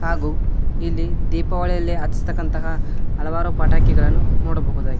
ಹಾಗು ಇಲ್ಲಿ ದೀಪಾವಳಿಯಲ್ಲಿ ಅಸ್ತಕಂತಹ ಹಲವಾರು ಪಟಾಕಿಗಳನ್ನ ನೋಡಬಹುದಾಗಿದೆ.